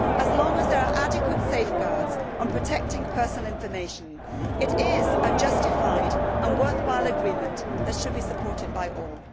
As long as there are adequate safeguards on protecting personal information, it is a justified and worthwhile agreement that should be supported by all.